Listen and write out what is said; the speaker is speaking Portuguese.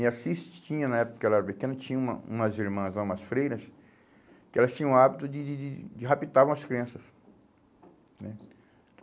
Em Assis, tinha na época que eu era pequeno, tinha uma umas irmãs lá, umas freiras, que elas tinham o hábito de de de de raptavam umas crianças, né.